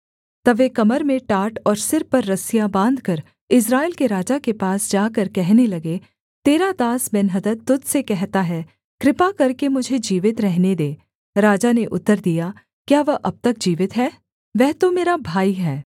तब वे कमर में टाट और सिर पर रस्सियाँ बाँधकर इस्राएल के राजा के पास जाकर कहने लगे तेरा दास बेन्हदद तुझ से कहता है कृपा करके मुझे जीवित रहने दे राजा ने उत्तर दिया क्या वह अब तक जीवित है वह तो मेरा भाई है